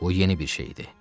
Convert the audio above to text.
Bu yeni bir şey idi.